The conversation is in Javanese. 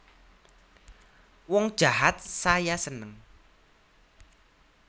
Wong jahat saya seneng